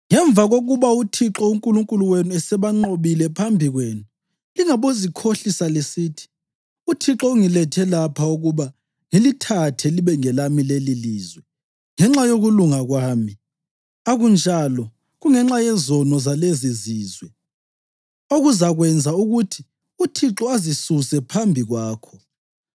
Ngemva kokuba uThixo uNkulunkulu wenu esebanqobile phambi kwenu, lingabozikhohlisa lisithi, ‘ UThixo ungilethe lapha ukuba ngilithathe libe ngelami lelilizwe ngenxa yokulunga kwami.’ Akunjalo, kungenxa yezono zalezizizwe okuzakwenza ukuthi uThixo azisuse phambi kwakho.